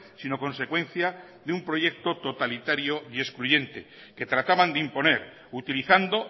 sino consecuencia de un proyecto totalitario y excluyente que trataban de imponer utilizando